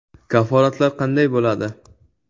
Kafolatlar qanday bo‘ladi?